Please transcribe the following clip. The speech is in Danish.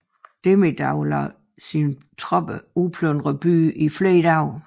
Demidov lod sine tropper udplyndre byen i flere dage